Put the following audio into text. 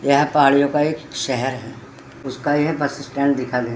यह पहाड़ियों का एक शहर है उसका यह बस स्टैंड दिखाई दे --